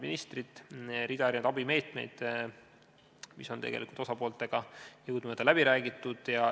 Mitmed abimeetmed on tegelikult osapooltega jõudumööda läbi räägitud.